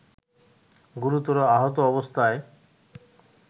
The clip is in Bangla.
গুরুতর আহত অবস্থায়